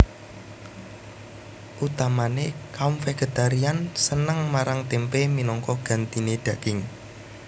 Utamané kaum vegetarian seneng marang témpé minangka gantiné daging